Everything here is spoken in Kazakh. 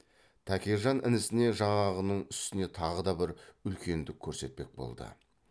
тәкежан інісіне жаңағының үстіне тағы да бір үлкендік көрсетпек болды